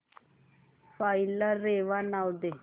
file ला रेवा नाव दे